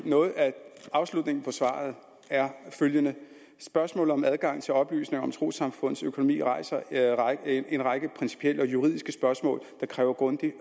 noget af afslutningen på svaret er følgende spørgsmålet om adgang til oplysninger om trossamfunds økonomi rejser en række principielle og juridiske spørgsmål der kræver grundigt